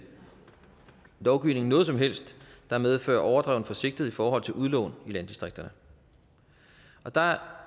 lovgivning er noget som helst der medfører overdreven forsigtighed i forhold til udlån i landdistrikterne der er